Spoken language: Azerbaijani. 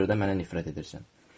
Ona görə də mənə nifrət edirsən.